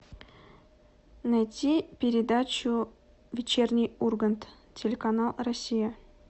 найти передачу вечерний ургант телеканал россия